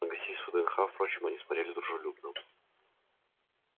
на гостей с вднх впрочем они смотрели дружелюбно